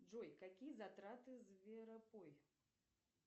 джой какие затраты зверопой